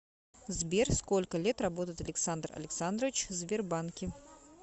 сбер сколько лет работает александр александрович в сбербанке